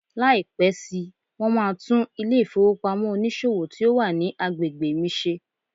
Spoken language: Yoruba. Lai pẹ si, won ma tun ile ifowopamọ onísòwò ti o wa ni agbegbe mi ṣe